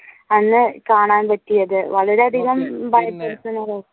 അന്ന് കാണാൻ പറ്റിയത് വളരെ അധികം